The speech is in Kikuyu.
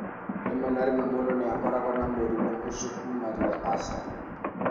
Rĩmwe na rĩmwe, mũndũ nĩ akoragwo na mũrimũ ũcio kuuma rĩrĩa aciarirũo.